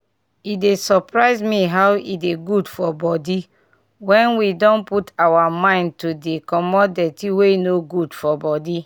e dey surprise me how e dey good for body when we don put our mind to dey comot dirty wey no good for body